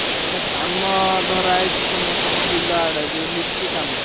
ଆଉ ଗୋଟେ କାମ ଧରାହେଇଛି ସେ ମ ତମ ବିଲ ଆଡେ ଯୋଉ lift କାମ।